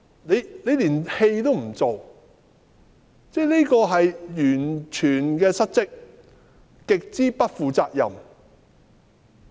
她連戲都不願做，是完全的失職，極之不負責任。